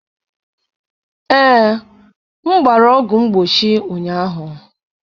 Ee, m gbara ọgwụ mgbochi ụnyaahụ.